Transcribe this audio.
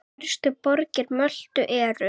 Stærstu borgir Möltu eru